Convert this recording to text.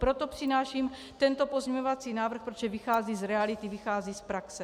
Proto přináším tento pozměňovací návrh, protože vychází z reality, vychází z praxe.